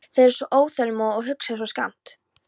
Þeir eru svo óþolinmóðir og hugsa svo skammt.